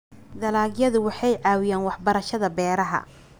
Dalagyadu waxay caawiyaan waxbarashada beeraha.